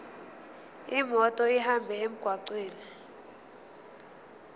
imoto ihambe emgwaqweni